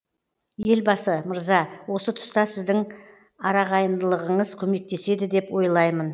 елбасы мырза осы тұста сіздің арағайындылығыңыз көмектеседі деп ойлаймын